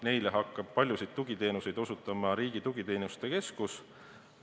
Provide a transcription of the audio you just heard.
Neile hakkab paljusid tugiteenuseid osutama Riigi Tugiteenuste Keskus.